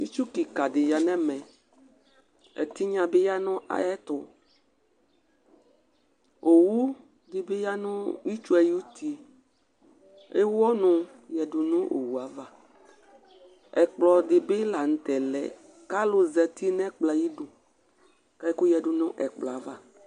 ĩtchũ ƙĩka dï ya nɛmə ẹtïɠna dïbɨ ƴaɴã ƴẽṭũ õẅụ dïbï ƴa năÿẽṭũ õwũ dïbï yanăy